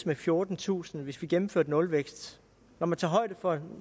med fjortentusind hvis vi gennemførte nulvækst når man tager højde for